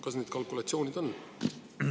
Kas need kalkulatsioonid on tehtud?